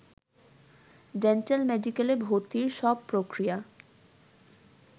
ডেন্টাল-মেডিকেলে ভর্তির সব প্রক্রিয়া